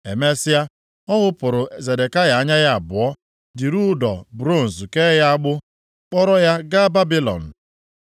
Emesịa, ọ ghụpụrụ Zedekaya anya ya abụọ, jiri ụdọ bronz kee ya agbụ kpọrọ ya gaa Babilọn.